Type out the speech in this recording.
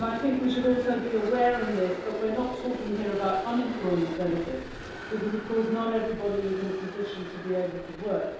We should also be aware in this that we're not talking here about unemployment benefit, because not everybody is in a position to be able to work.